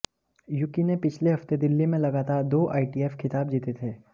Yuki ने पिछले हफ्ते दिल्ली में लगातार दो आईटीएफ खिताब जीते थे